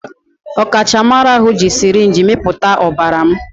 Ọkachamara ahụ ji sirinji mịpụta ọbara m